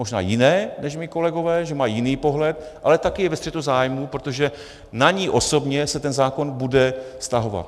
Možná jiné než mí kolegové, že mají jiný pohled, ale taky je ve střetu zájmů, protože na ni osobně se ten zákon bude vztahovat.